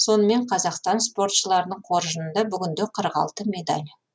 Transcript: сонымен қазақстан спортшыларының қоржынында бүгінде қырық алты медаль